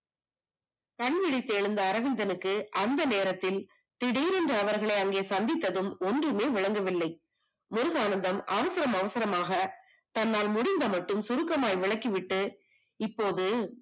கண்விழத்தி எழுந்த அரவிந்தனுக்கு அந்த நேரத்தில் திடீரென அவர்களை அங்கே சந்தித்ததும் ஒன்றுமே விளங்கவில்லை முருகானந்தம் அவசரம் அவசரமாக தன்னால் முடிந்த மட்டும் சுருக்கமாய் விளக்கி விட்டு இப்போது